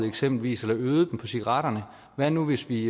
eksempelvis øgede dem på cigaretterne hvad nu hvis vi